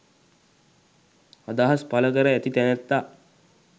අදහස් පල කර ඇති තැනැත්තා